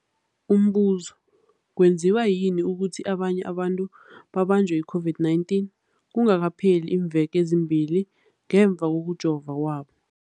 Umbuzo, kwenziwa yini ukuthi abanye abantu babanjwe yi-COVID-19 kungakapheli iimveke ezimbili ngemva kokujova kwabo?